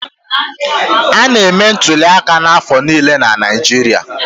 A na-eme ntụli aka n'afọ niile na Naijiria.